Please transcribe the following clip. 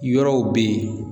Yɔrɔw be yen